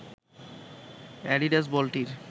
Adidas বলটির